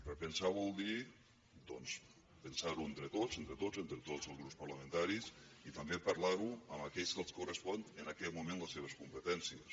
repensar vol dir doncs pensar ho entre tots entre tots entre tots els grups parlamentaris i també parlar ho amb aquells que els correspon en aquest moment per les seves competències